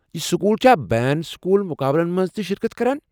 یہ سکول چھا بین سکول مقابلن منٛزتہِ شرکت كران ؟